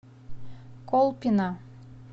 колпино